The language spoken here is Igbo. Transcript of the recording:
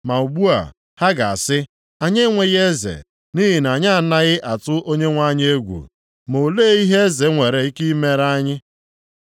Ma ugbu a, ha ga-asị, “Anyị enweghị eze, nʼihi na anyị anaghị atụ Onyenwe anyị egwu, ma olee ihe eze nwere ike ị mere anyị?”